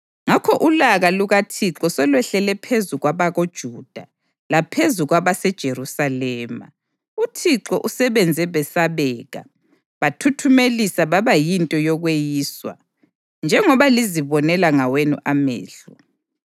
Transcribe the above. Ngakho ulaka lukaThixo selwehlele phezu kwabakoJuda laphezu kwabaseJerusalema; uThixo usebenze besabeka, bathuthumelisa baba yinto yokweyiswa, njengoba lizibonela ngawenu amehlo.